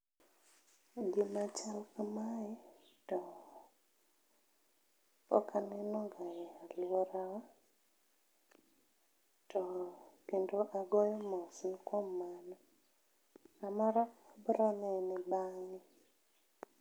Gima chal kamae to pokaneno ga e aluorawa to kendo agoyo mos ne kuom mano, samoro koro ne en bange